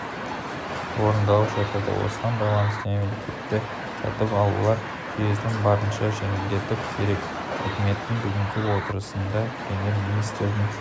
орындалып жатады осыған байланысты мемлекетті сатып алулар жүйесін барынша жетілдіру керек үкіметтің бүгінгі отырысында премьер-министрдің